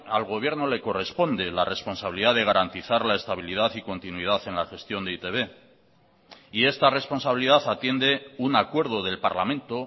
al gobierno le corresponde la responsabilidad de garantizar la estabilidad y continuidad en la gestión de e i te be y esta responsabilidad atiende un acuerdo del parlamento